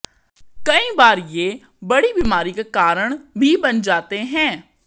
कई बार ये बड़ी बीमारी का कारण भी बन जाते हैं